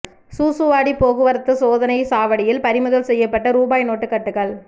சூசூவாடி போக்குவரத்து சோதனைச் சாவடியில் பறிமுதல் செய்யப்பட்ட ரூபாய் நோட்டு கட்டுகள்